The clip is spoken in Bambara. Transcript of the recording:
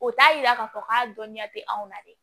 O t'a yira k'a fɔ k'a dɔnniya tɛ anw na dɛ